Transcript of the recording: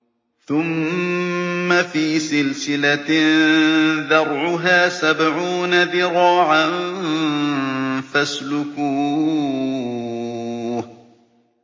ثُمَّ فِي سِلْسِلَةٍ ذَرْعُهَا سَبْعُونَ ذِرَاعًا فَاسْلُكُوهُ